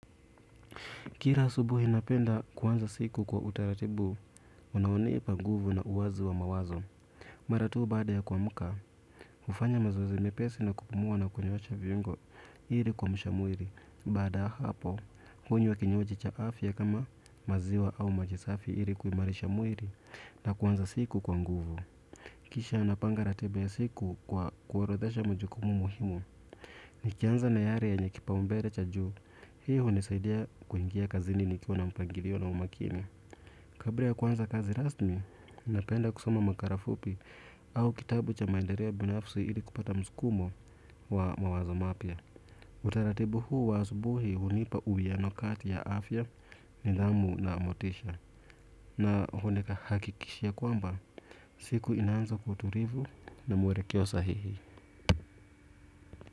Kila asubuhi napenda kuanza siku kwa utaratibu, unaonipa nguvu na uwazi wa mawazo. Mara tu baada ya kuamka, kufanya mazoezi mepesi na kupumua na kunyoosha viungo ili kuamsha mwir. Baada ya hapo, hunywa kinywaji cha afya kama maziwa au maji safi ili kuimarisha mwili na kuanza siku kwa nguvu. Kisha napanga ratiba ya siku kwa kuorodhesha majukumu muhimu. Nikianza na yale yenye kipaumbele cha juu, hii hunisaidia kuingia kazini nikiwa na mpangilio na umakini. Kabla ya kuanza kazi rasmi napenda kusoma makala fupi au kitabu cha maendeleo binafsi ilikupata msukumo wa mawazo mapya. Utaratibu huu wa asubuhi hunipa uhuiano kati ya afya, nidhamu na motisha. Na hunihakikishia kwamba siku inaanza kwa utulivu na mwelekeo sahihi.